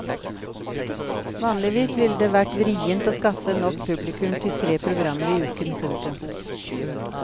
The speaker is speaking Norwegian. Vanligvis ville det vært vrient å skaffe nok publikum til tre programmer i uken. punktum